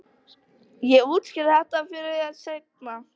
Ég útskýri þetta fyrir þér seinna.